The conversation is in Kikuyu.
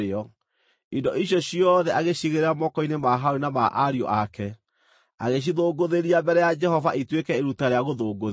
Indo icio ciothe agĩciigĩrĩra moko-inĩ ma Harũni na ma ariũ ake, agĩcithũngũthĩria mbere ya Jehova ituĩke iruta rĩa gũthũngũthio.